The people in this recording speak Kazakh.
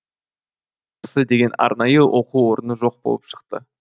жол сақшысы деген арнайы оқу орны жоқ болып шықты